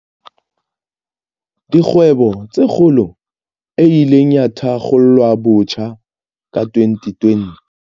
Dikgwebo tse Kgolo, e ileng ya thakgolwabotjha ka 2020.